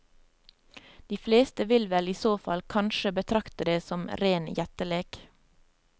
De fleste vil vel i så fall kanskje betrakte det som ren gjettelek.